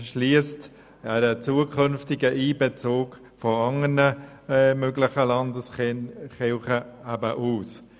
Sie schliesst einen künftigen Einbezug anderer möglicher Landeskirchen aus.